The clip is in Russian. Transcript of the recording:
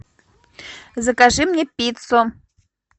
закажи мне пиццу